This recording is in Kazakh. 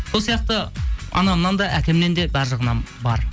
сол сияқты анамнан да әкемнен де бәрі жағынан бар